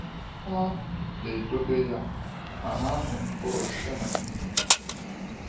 Ha “na-edobe ya ma na-amị mkpụrụ site n’ndidi.”